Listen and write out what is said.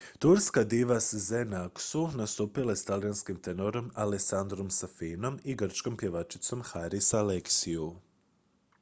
turska diva sezen aksu nastupila je s talijanskim tenorom alessandrom safinom i grčkom pjevačicom haris alexiou